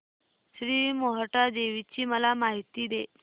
श्री मोहटादेवी ची मला माहिती दे